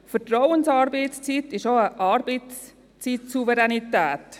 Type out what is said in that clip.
Vertrauensarbeitszeit bedeutet auch Arbeitszeitsouveränität.